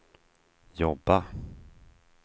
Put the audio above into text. jobba